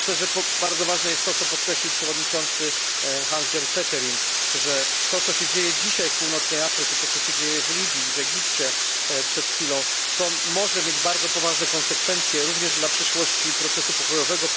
Myślę, że bardzo ważne jest to, co podkreślił przewodniczący Hans Gert Pöttering, że to co się dzieje dzisiaj w Północnej Afryce, to co się dzieje w Libii, w Egipcie, może mieć bardzo poważne konsekwencje, również dla przyszłości procesu pokojowego.